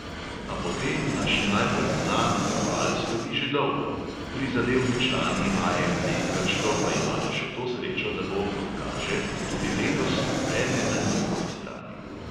A po tem naš najbolj znan oval slovi že dolgo, prizadevni člani AMD krško pa imajo še to srečo, da bo, kot kaže, tudi letos vreme na njihovi strani.